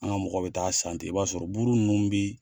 An ka mɔgɔw be t'a san ten i b'a sɔrɔ buru ninnu bi